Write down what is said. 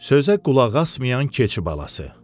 Sözə qulaq asmayan keçi balası.